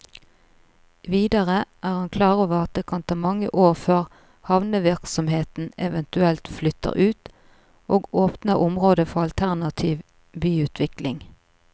Videre er han klar over at det kan ta mange år før havnevirksomheten eventuelt flytter ut, og åpner området for alternativ byutvikling.